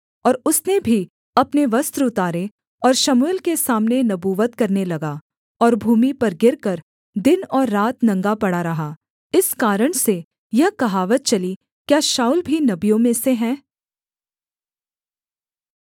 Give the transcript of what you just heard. और उसने भी अपने वस्त्र उतारे और शमूएल के सामने नबूवत करने लगा और भूमि पर गिरकर दिन और रात नंगा पड़ा रहा इस कारण से यह कहावत चली क्या शाऊल भी नबियों में से है